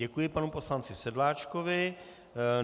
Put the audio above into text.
Děkuji panu poslanci Sedláčkovi.